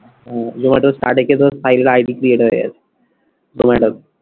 জোম্যাটোর গিয়ে ধর ID create হয়ে গিয়েছে